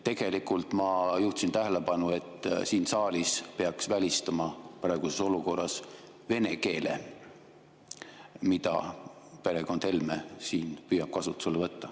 Tegelikult ma juhtisin tähelepanu, et siin saalis peaks välistama praeguses olukorras vene keele, mida perekond Helme siin püüab kasutusele võtta.